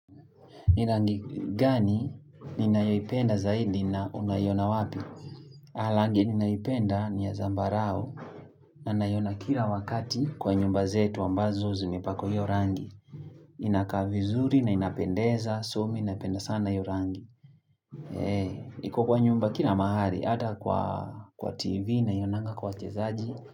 Ni rangi gani ninayoipenda zaidi na unayona wapi langi ninayoipenda ni ya zambarao na nayona kila wakati kwa nyumba zetu ambazo zimepakwa hiyo rangi Inaka vizuri na inapendeza, so mi napenda sana hiyo rangi Eee, iko kwa nyumba kila mahali, ata kwa tv nayonanga kwa wachezaji.